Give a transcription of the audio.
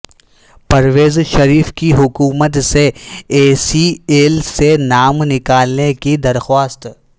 پرویز مشرف کی حکومت سے ای سی ایل سے نام نکالنے کی درخواست